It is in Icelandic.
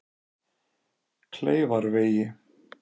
Kleifarvegi